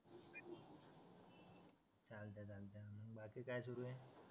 बाकी काय सुरू आहे